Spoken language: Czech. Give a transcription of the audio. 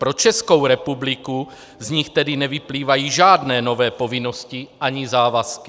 Pro Českou republiku z nich tedy nevyplývají žádné nové povinnosti ani závazky.